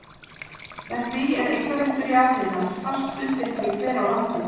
Með því er eignarréttur jarðhitans fast bundinn því hver á landið.